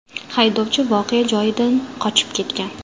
Haydovchi voqea joyidan qochib ketgan.